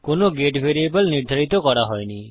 কোনো get variable নির্ধারিত করা হয়নি